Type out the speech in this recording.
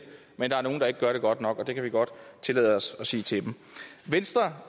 men der er nogle der ikke gør det godt nok og det kan vi godt tillade os at sige til dem venstre